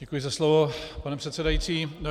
Děkuji za slovo, pane předsedající.